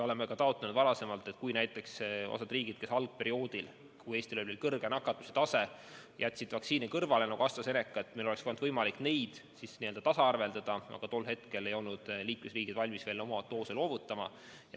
Oleme ka varem taotlenud seda, et kui osa riike jättis algperioodil, kui Eestis oli kõrge nakatumise tase, AstraZeneca vaktsiini kõrvale, siis meil oleks võimalik nendega tasaarveldada, aga tol hetkel ei olnud liikmesriigid valmis veel oma doose loovutama.